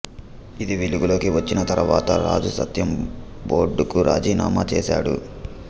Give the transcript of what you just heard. ఇది వెలుగులోకి వచ్చిన తరువాత రాజు సత్యం బోర్డుకు రాజీనామా చేశాడు